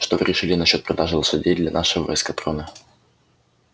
что вы решили насчёт продажи лошадей для нашего эскадрона